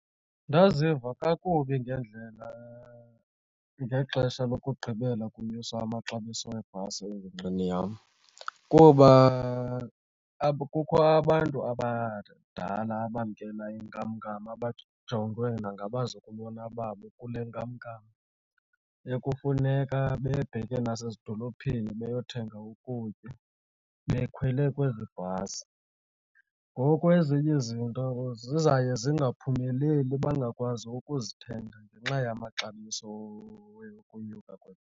Ndaziva kakubi ngeendlela ngexesha lokugqibela kunyuswe amaxabiso webhasi engingqini yam kuba apha kukho abantu abadala abamkela inkamnkam abajongwe nangabazukulwana babo kule nkamnkam ekufuneka bebheke nasezidolophini beyothenga ukutya bekhwele kwezi bhasi. Ngoku ezinye izinto zizawuye zingaphumeleli bangakwazi ukuzithenga ngenxa yamaxabiso onyuka .